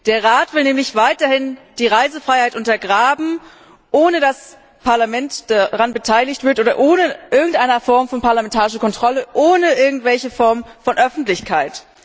Der Rat will nämlich weiterhin die Reisefreiheit untergraben, ohne dass das Parlament an der Beschlussfassung beteiligt wird, ohne irgendeine Form von parlamentarischer Kontrolle, ohne irgendeine Form von Öffentlichkeit.